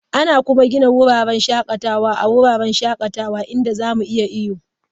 Ana kuma gina wurin shakatawa a wasu wuraren shakatawa inda za mu iya iyo.